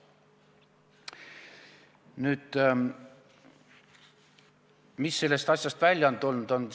Nüüd, mis sellest asjast välja on tulnud?